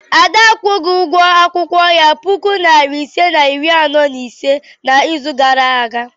Ada akwụghị ụgwọ akwụkwọ ya puku nari ise na iri anọ na ise n'izu gara aga?